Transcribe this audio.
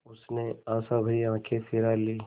उसने आशाभरी आँखें फिरा लीं